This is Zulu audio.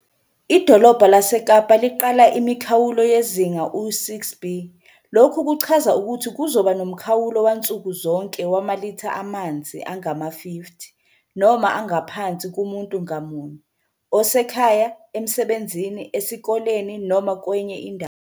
IDolobha laseKapa liqala imikhawulo yezinga u-6B. Lokhu kuchaza ukuthi kuzoba nomkhawulo wansuku zonke wamalitha amanzi angama-50 noma angaphansi kumuntu ngamunye, osekhaya, emsebenzini, esikoleni noma kwenye indawo.